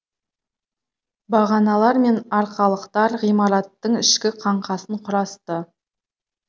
бағаналар мен арқалыктар ғимаратгың ішкі қаңқасын құрасты